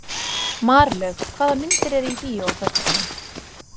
Marlaug, hvaða myndir eru í bíó á föstudaginn?